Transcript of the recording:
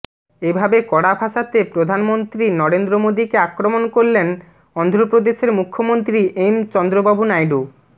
এভাবে কড়া ভাষাতে প্রধান মন্ত্রী নরেন্দ্র মোদীকে আক্রমণ করলেন অন্ধ্রপ্রদেশের মুখ্যমন্ত্রী এম চন্দ্রবাবু নাইডু